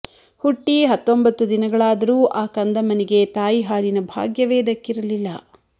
ಹುಟ್ಟಿ ಹತ್ತೊಂಬತ್ತು ದಿನಗಳಾದರೂ ಆ ಕಂದಮ್ಮನಿಗೆ ತಾಯಿ ಹಾಲಿನ ಭಾಗ್ಯವೇ ದಕ್ಕಿರಲಿಲ್ಲ